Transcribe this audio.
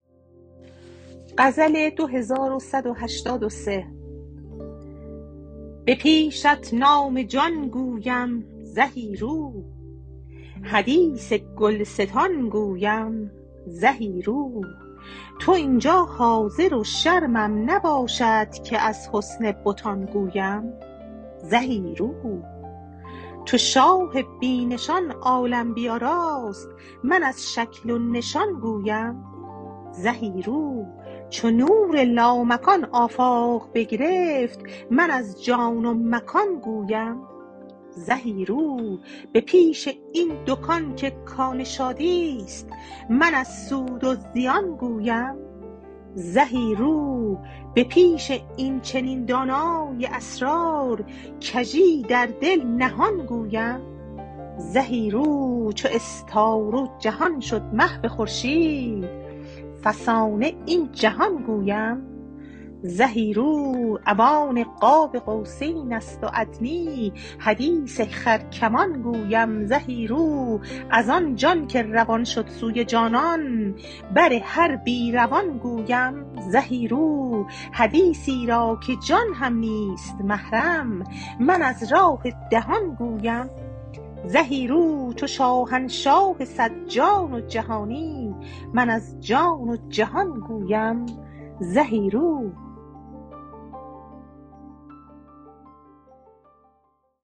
به پیشت نام جان گویم زهی رو حدیث گلستان گویم زهی رو تو این جا حاضر و شرمم نباشد که از حسن بتان گویم زهی رو چو شاه بی نشان عالم بیاراست من از شکل و نشان گویم زهی رو چو نور لامکان آفاق بگرفت من از جا و مکان گویم زهی رو به پیش این دکان که کان شادی است من از سود و زیان گویم زهی رو به پیش این چنین دانای اسرار کژی در دل نهان گویم زهی رو چو استاره و جهان شد محو خورشید فسانه این جهان گویم زهی رو اوان قاب قوسین است و ادنی حدیث خرکمان گویم زهی رو از آن جان که روان شد سوی جانان بر هر بی روان گویم زهی رو حدیثی را که جان هم نیست محرم من از راه دهان گویم زهی رو چو شاهنشاه صد جان و جهانی من از جان و جهان گویم زهی رو